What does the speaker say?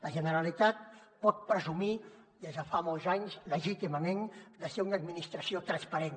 la generalitat pot presumir des de fa molts anys legítimament de ser una administració transparent